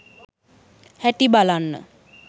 හැටි බලන්න